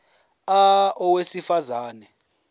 a owesifaz ane